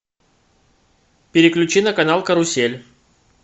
переключи на канал карусель